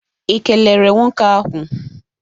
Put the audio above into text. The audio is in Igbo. Ị kelere nwoke ahụ?